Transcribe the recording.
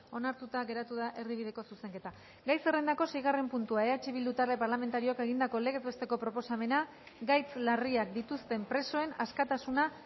onartuta geratu da erdibideko zuzenketa gai zerrendako seigarren puntua eh bildu talde parlamentarioak egindako legez besteko proposamena gaitz larriak dituzten presoen askatasuna